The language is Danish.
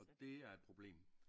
Og det er et problem